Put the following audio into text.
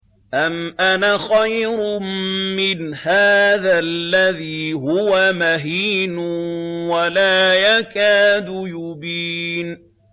أَمْ أَنَا خَيْرٌ مِّنْ هَٰذَا الَّذِي هُوَ مَهِينٌ وَلَا يَكَادُ يُبِينُ